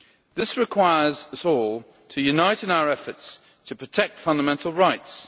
This requires us all to unite in our efforts to protect fundamental rights.